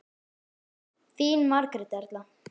Þín Margrét Erla.